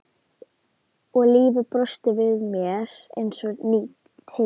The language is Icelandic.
Og lífið brosti við mér eins og ný tilvera.